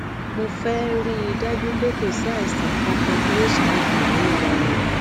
mo féé rí i dájú pé kò sí àìsàn kankan bí hiv nínú ara mi